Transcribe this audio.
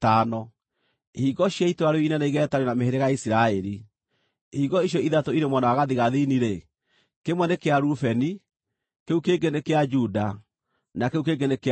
ihingo cia itũũra rĩu inene igeetanio na mĩhĩrĩga ya Isiraeli. Ihingo icio ithatũ irĩ mwena wa gathigathini-rĩ, kĩmwe nĩ kĩa Rubeni, kĩu kĩngĩ nĩ kĩa Juda, na kĩu kĩngĩ nĩ kĩa Lawi.